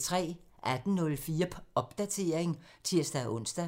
18:04: Popdatering (tir-ons)